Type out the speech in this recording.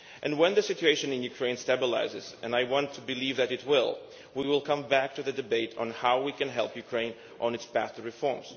When the situation in Ukraine stabilises, and I want to believe that it will, we will come back to the debate on how we can help Ukraine on its path to reform.